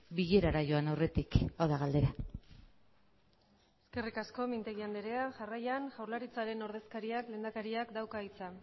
bilerara joan aurretik hau da galdera eskerrik asko mintegi andrea jarraian jaurlaritzaren ordezkariak lehendakariak dauka hitza